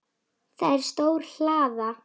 Það er stór hlaða.